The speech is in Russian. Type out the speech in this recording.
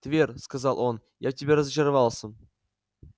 твер сказал он я в тебе разочаровался